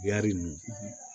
Yari nunnu